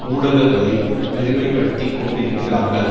ஊடகங்களில் பெருமைப்படுத்திக் கொண்டிருக்கிறார்கள்